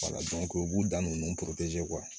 u b'u dan nunnu kuwa